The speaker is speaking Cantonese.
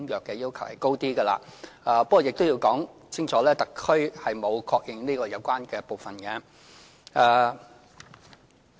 不過，我亦要清楚指出，特區政府並沒有確認有關的部分。